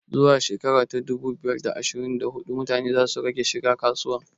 Zuwa shekara ta dubu biyu da ashirin da hudu mutane za su rage shiga kasuwa